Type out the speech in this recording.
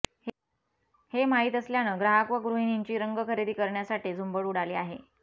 हे माहीत असल्यानं ग्राहक व गृहिणींची रंग खरेदी करण्यासाठी झुंबड उडाली आहे